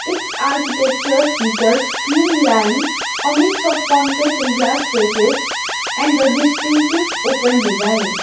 its architecture features clean line a mix of concrete and glass facades and the distinctive open design.